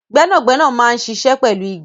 Gbẹ́nàgbẹ́nà máa ń ṣiṣẹ́ pẹ̀lú igi